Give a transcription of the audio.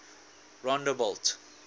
rondebult